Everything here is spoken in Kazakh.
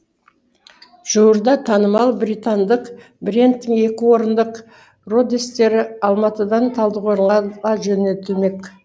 жуырда танымал британдық брендтің екі орындық родестері алматыдан талдықорғанға жөнелтілмек